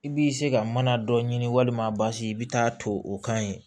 I b'i se ka mana dɔ ɲini walima basi i bɛ taa to o kan yen